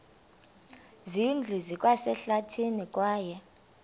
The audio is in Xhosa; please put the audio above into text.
zindlu zikwasehlathini kwaye